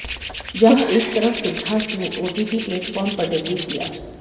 जहां एक तरफ सिद्धार्थ ने ओटीटी प्लेटफॉर्म पर डेब्यू किया